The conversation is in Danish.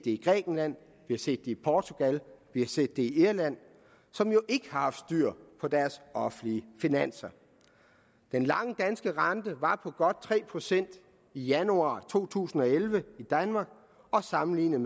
i grækenland vi har set det i portugal og vi har set det i irland som jo ikke har haft styr på deres offentlige finanser den lange danske rente var på godt tre procent i januar to tusind og elleve i danmark og sammenlignet